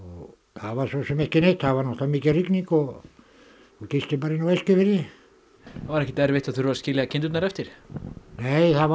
það var svo sem ekki neitt það var mikil rigning og ég gisti bara inni á Eskifirði var ekkert erfitt að þurfa að skilja kindurnar eftir nei það var